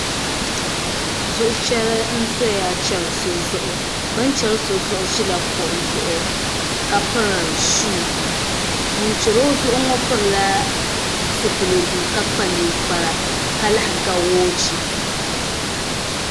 Zuɣu chɛri n ʒɛya chɛri so zuɣu bini chɛri so zuɣu ʒila kuɣu zuɣu ka piri shuu ŋun chɛri o zuɣu ŋo pilila zipiligu ka kpa ninkpara ka lahi ga woochi